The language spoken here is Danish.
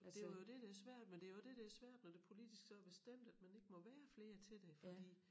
Men det jo det der svært men det jo også det der svært når det politisk så er bestemt at man ikke må være flere til det fordi